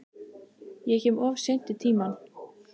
Ég kem of seint í tímann.